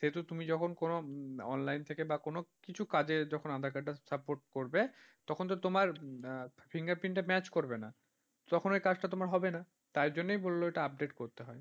সেতো তুমি যখন কোন online থেকে বা কোন কিছু কাজে যখন aadhaar card টা support পড়বে, তখন তো তোমার finger print match করবে না, তখন ঐ কাজটা তোমার হবে না, তার জন্যই বলল ওটা update করতে হয়।